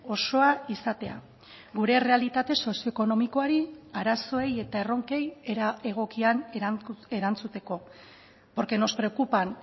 osoa izatea gure errealitate sozio ekonomikoari arazoei eta erronkei era egokian erantzuteko porque nos preocupan